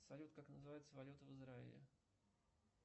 салют как называется валюта в израиле